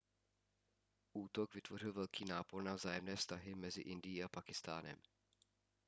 útok vytvořil velký nápor na vzájemné vztahy mezi indií a pákistánem